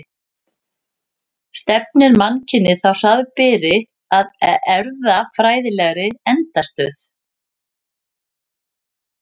Stefnir mannkynið þá hraðbyri að erfðafræðilegri endastöð?